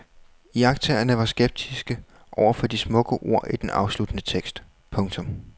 Iagttagerne var skeptiske overfor de smukke ord i den afsluttende tekst. punktum